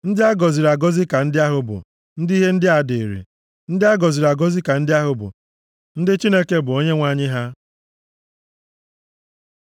Ndị a gọziri agọzi ka ndị ahụ bụ, ndị ihe ndị a dịịrị; ndị a gọziri agọzi ka ndị ahụ bụ, ndị Chineke bụ Onyenwe anyị ha.